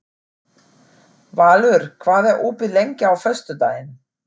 Valur, hvað er opið lengi á föstudaginn?